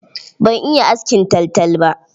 Ban iya askin taltal ba.